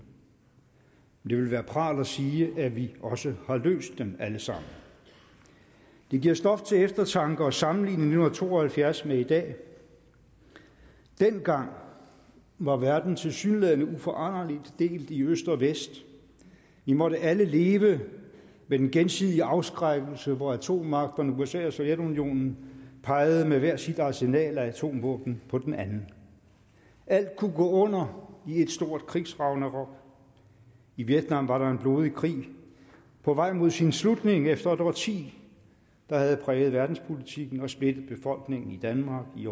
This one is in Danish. ville være pral at sige at vi også har løst dem alle sammen det giver stof til eftertanke at sammenligne nitten to og halvfjerds med i dag dengang var verden tilsyneladende uforanderligt delt i øst og vest vi måtte alle leve med den gensidige afskrækkelse hvor atommagterne usa og sovjetunionen pegede med hver sit arsenal af atomvåben på den anden alt kunne gå under i et stort krigsragnarok i vietnam var en blodig krig på vej mod sin slutning efter et årti der havde præget verdenspolitikken og splittet befolkningen i danmark i